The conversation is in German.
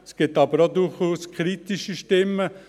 Es gibt aber durchaus auch kritische Stimmen.